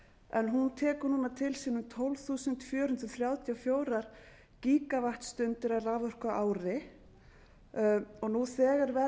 en hún tekur núna til sín tólf þúsund fjögur hundruð þrjátíu og fjögur gígavattstundir af raforku á ári nú þegar verja